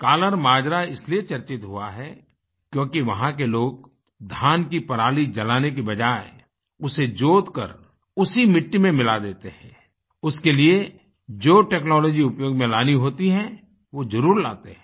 कल्लर माजरा इसलिए चर्चित हुआ है क्योंकि वहाँ के लोग धान की पराली जलाने की बजाय उसे जोतकर उसी मिट्टी में मिला देते हैं उसके लिए जो टेक्नोलॉजी उपयोग मेंलानी होती है वो जरूर लाते हैं